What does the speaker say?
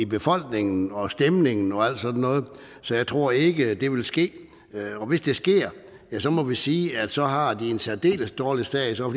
befolkningen og stemningen og alt sådan noget så jeg tror ikke at det vil ske og hvis det sker må vi sige at så har de en særdeles dårlig sag så er